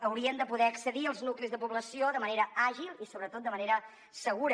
haurien de poder accedir als nuclis de població de manera àgil i sobretot de manera segura